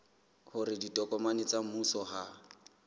hore ditokomane tsa mmuso ha